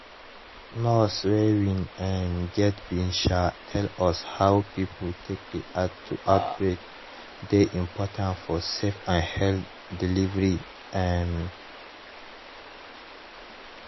nurse wey we um get bin um tell us how pipo take react to outbreak dey important for safe and healthy delivery um